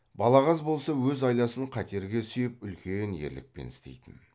балағаз болса өз айласын қатерге сүйеп үлкен ерлікпен істейтін